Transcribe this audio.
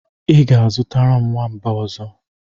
I ga-azụtara m nwamba ọzọ.